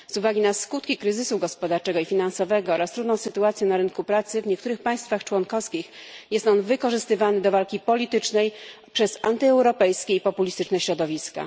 Z uwagi na skutki kryzysu gospodarczego i finansowego oraz trudną sytuację na rynku pracy w niektórych państwach członkowskich jest on wykorzystywany do walki politycznej przez antyeuropejskie i populistyczne środowiska.